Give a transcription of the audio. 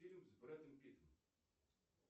фильм с брэдом питтом